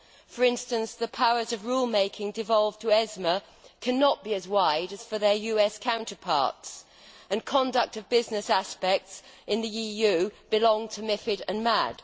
For instance, the powers of rule making devolved to ESMA cannot be as wide as for their US counterparts, and conduct of business aspects in the EU belong to MiFID and MAD.